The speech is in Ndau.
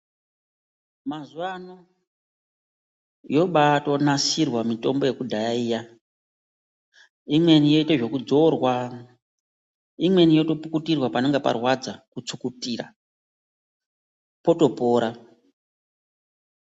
Mazuva ano yobatonasirwa mitombo yekudhaya ino imweni yoitwa zvekudzorwa imweni yotopukutirwa panonga parwadza kutsukutira potopora.